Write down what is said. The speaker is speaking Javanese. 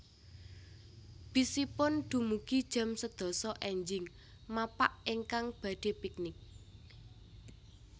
Bis ipun dumugi jam sedasa enjing mapak ingkang badhe piknik